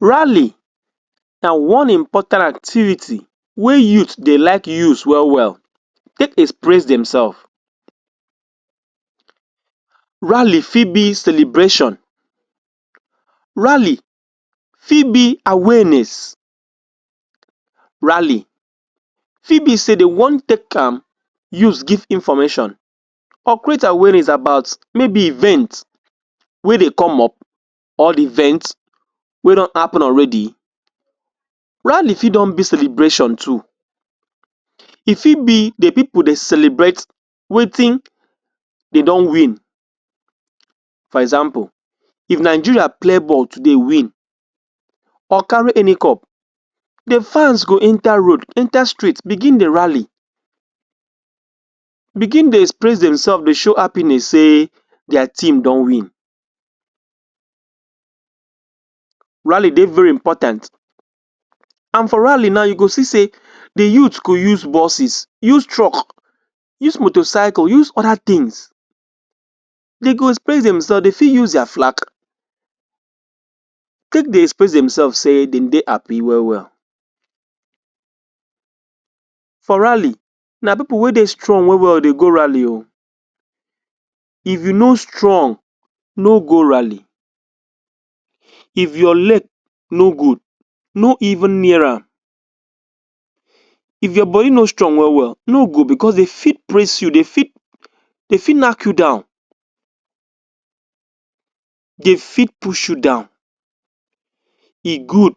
Rally na one important activity wey youth dey like use well well, take express themselves. Rally fit be celebration. Rally fit be awareness. Rally fit be say dey wan take am use give information or create awareness about maybe event wey dey come up or event wey don happen already. Rally fit don be celebration too. E fit be the people dey celebrate wetin dey don win for example if Nigeria play ball today win or carry any cup, the fans go enter road, enter street begin dey rally, begin dey express themselve dey show happiness say their team don win. Rally dey very important and for rally now you go see say the youth go use buses, use truck, use motorcycle, use other things. Dey go express themselve, dey fit use their flack take dey express themselves say dem dey happy well well. For rally, na people wey dey strong well well dey go rally o. If you no strong, no go rally. If your leg no good, no even near am. If your body no strong well well, no go because dey fit press you, dey fit dey fit knack you down, dey fit push you down. E good